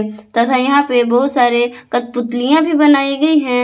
तथा यहां पर बहुत सारे कठपुतलियां भी बनाई गई है।